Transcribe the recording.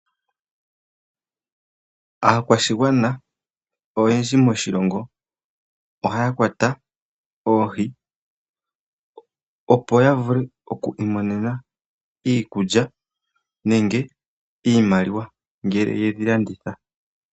Aakwashigwana oyendji ohaya kwata oohi, opo ya vule oku imonena iikulya nenge iimaliwa ngele yedhi landitha.